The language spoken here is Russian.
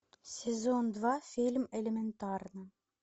сезон два фильм элементарно